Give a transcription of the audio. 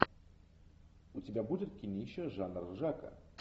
у тебя будет кинище жанр ржака